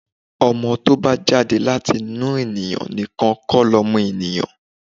Ọmọ to bá jáde láti inú ẹni nìkan kó lọmọ èniyàn.